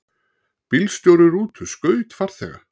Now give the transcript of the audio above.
Bílstjóri rútu skaut farþega